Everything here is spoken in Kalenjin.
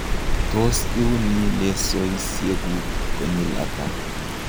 tos iuni lesoisiekuk konyil ata?